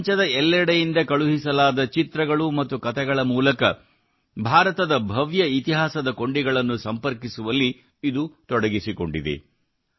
ಪ್ರಪಂಚಾದ್ಯಂತ ಕಳುಹಿಸಲಾದ ಚಿತ್ರಗಳು ಮತ್ತು ಕತೆಗಳ ಮೂಲಕ ಭಾರತದ ಭವ್ಯ ಇತಿಹಾಸದ ಕೊಂಡಿಗಳನ್ನು ಸಂಪರ್ಕಿಸುವಲ್ಲಿ ಇದು ತೊಡಗಿಸಿಕೊಂಡಿದೆ